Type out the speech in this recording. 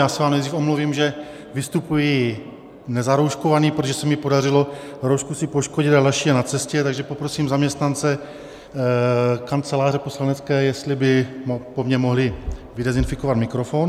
Já se vám nejdřív omluvím, že vystupuji nezarouškovaný, protože se mi podařilo roušku si poškodit a další je na cestě, takže poprosím zaměstnance Kanceláře poslanecké, jestli by po mně mohli vydenzifikovat mikrofon.